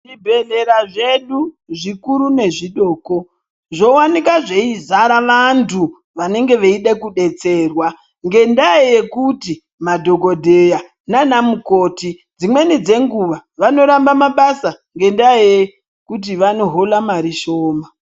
Zvi bhedhlera zvedu zvikuru ne zvidoko zvo wanika zvei zara vantu vanenge veida kudetserwa ngenda yekuti madhokodheya nana mukoti dzimweni dze nguva vano ramba mabasa ngenda yekuti vano hola mari shoma.